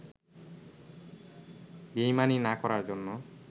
বেইমানি না করার জন্য